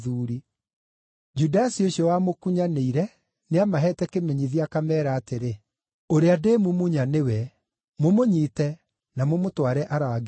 Judasi ũcio wamũkunyanĩire nĩamaheete kĩmenyithia akameera atĩrĩ, “Ũrĩa ndĩmumunya nĩwe; mũmũnyiite na mũmũtware arangĩirwo.”